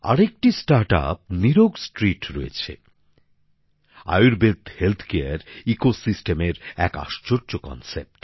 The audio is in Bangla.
আরেকটি স্টার্টআপ নিরোগস্ট্রীট রয়েছে আয়ুর্বেদ চিকিৎসা ব্যবস্থার এক আশ্চর্য ধারণা